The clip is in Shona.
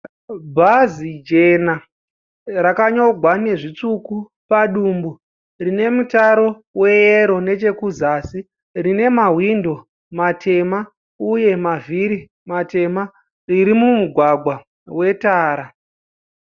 Bhazi jena rakanyogwa nezvitsvuku padumbu. Rine mutaro weyero nechekuzasi. Rine mahwindo matema uye mavhiri matema. Riri mumugwagwa wetara.